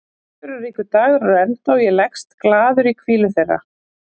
Viðburðaríkur dagur er á enda og ég leggst glaður í hvílu þeirra.